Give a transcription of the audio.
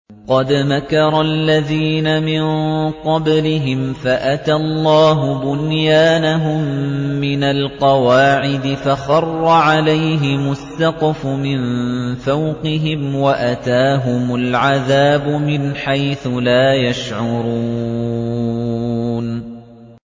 قَدْ مَكَرَ الَّذِينَ مِن قَبْلِهِمْ فَأَتَى اللَّهُ بُنْيَانَهُم مِّنَ الْقَوَاعِدِ فَخَرَّ عَلَيْهِمُ السَّقْفُ مِن فَوْقِهِمْ وَأَتَاهُمُ الْعَذَابُ مِنْ حَيْثُ لَا يَشْعُرُونَ